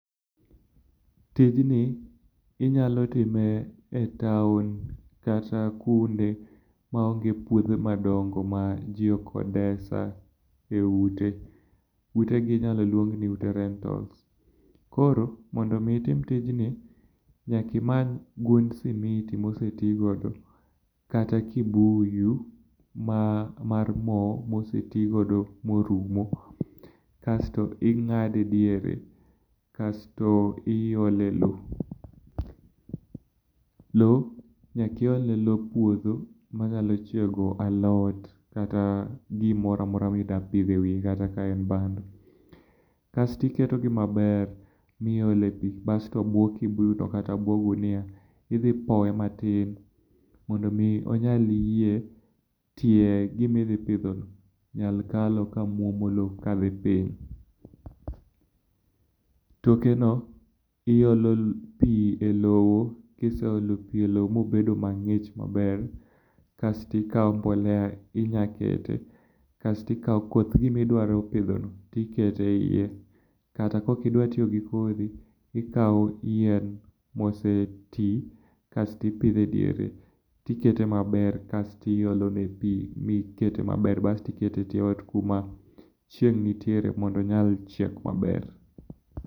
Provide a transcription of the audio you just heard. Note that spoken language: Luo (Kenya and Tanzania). Tijni inyalo time e town kata kuonde maonge puothe madongo ma ji okodesa eute. Utegi iluongo ni rental. Koro mondo mi itim tijni nyaka imany gund simiti moseti godo kata kibuyu mar mo moseti godo morumo. Kasto ing'ade diere, kasto iole lowo. Lowo, nyaka iol lop puodho manyalo chiego alot kata gimoro amora midwa pidho ewiye kanyo kata ka en bando kasto iketogi maber miole pi basto bwo kibuyuno kata bwo gunia, idhi powe matin mondo mi onyal yie ne gima idhi pidhono nyal kalo ka mwomo lowo kadhi piny. Tokeno, iolo pi elowo, kiseolo pi e lowo mobedo mang'ich maber kasto ikawo mbolea inya kete kasto ikawo koth gima idwa pidhono to iketo eiye kata kaok idwa tiyo gi kodhi ikawo yien moseti, kasto ipidho e diere. To ikete maber kasto iolone pi kasto ikete etie ot kuma chieng' nitie mondo onyag maber.